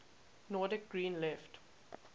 nordic green left